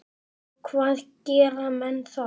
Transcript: Og hvað gera menn þá?